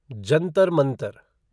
Jantar Mantar